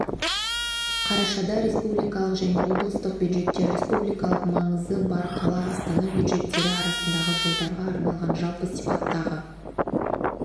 қарашада республикалық және облыстық бюджеттер республикалық маңызы бар қала астана бюджеттері арасындағы жылдарға арналған жалпы сипаттағы